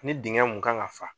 Ni dingɛ mun kan ka fa.